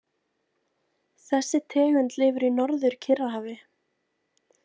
Þessi tegund lifir í Norður-Kyrrahafi.